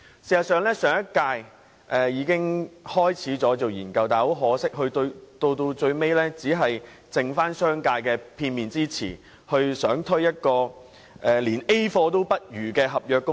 事實上，上屆政府已開始研究，但很可惜，最終結果只是基於商界的片面之詞，欲推出一項連 "A 貨"也不如的合約工時。